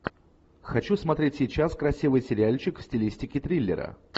хочу смотреть сейчас красивый сериальчик в стилистике триллера